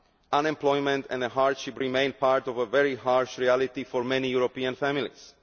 Unemployment and hardship remain part of a very harsh reality for many European families.